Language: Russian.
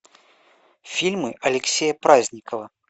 фильмы алексея праздникова